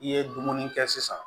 I ye dumuni kɛ sisan